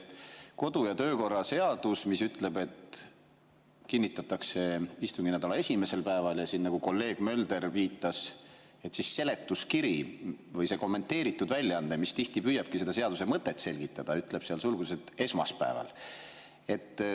Kodu‑ ja töökorra seadus ütleb, et kinnitatakse istunginädala esimesel päeval, ja nagu kolleeg Mölder viitas, siis seletuskiri või kommenteeritud väljaanne, mis tihti püüabki seda seaduse mõtet selgitada, ütleb sulgudes, et esmaspäeval.